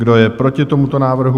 Kdo je proti tomuto návrhu?